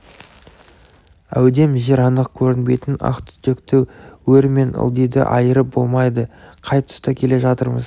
әудем жер анық көрінбейтін ақ түтекте өр мен ылдиды айырып болмайды қай тұста келе жатырмыз